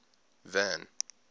van